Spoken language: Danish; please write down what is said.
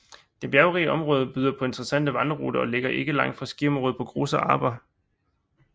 Det bjergrige område byder på intereessante vandreruter og ligger ikke langt fra skiområdet på Großer Arber